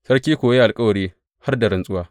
Sarki kuwa ya yi alkawari har da rantsuwa.